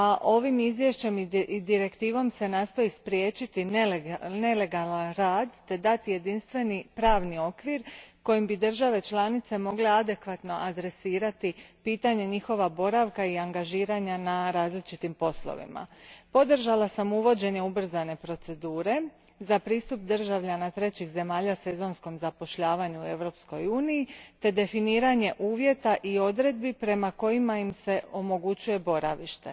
Ovim izvješćem i direktivom se nastoji spriječiti nelegalan rad te dati jedinstven pravni okvir kojim bi države članice mogle adekvatno adresirati pitanje njihova boravka i angažiranja na različitim poslovima. Podržala sam uvođenje ubrzane procedure za pristup državljana trećih zemalja sezonskom zapošljavanju u Europskoj uniji te definiranje uvjeta i odredbi prema kojima im se omogućuje boravište.